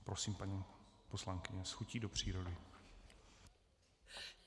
Prosím, paní poslankyně, s chutí do přírody.